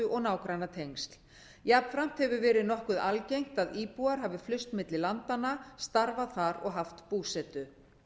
og nágrannatengsl jafnframt hefur verið nokkuð algengt að íbúar hafi flust milli landanna starfað þar og haft búsetu